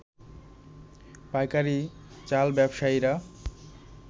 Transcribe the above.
পাইকারী চাল ব্যবসায়ীরা